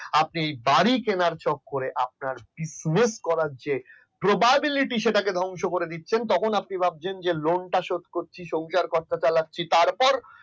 আপনি বাড়ি করার চক্করে business করার চেয়ে propablity সেটাকে ধ্বংস করে দিচ্ছেন তখন আপনি ভাবছেন যে lone শোধ করছি সংসার পত্র চালাচ্ছি তারপর